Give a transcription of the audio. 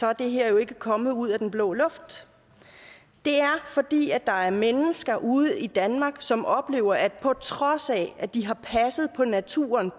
er det her jo ikke kommet ud af den blå luft det er fordi der er mennesker ude i danmark som oplever at på trods af at de har passet på naturen